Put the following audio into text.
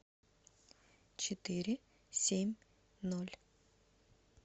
четыре семь ноль